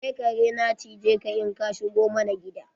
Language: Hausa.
Sai kare na cije ka in ka shigo mana gida.